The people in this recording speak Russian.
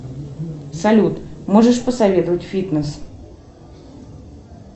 салют можешь посоветовать фитнес